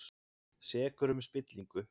Sekur um spillingu